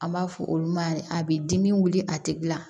An b'a fɔ olu ma de a bi dimi wuli a tigila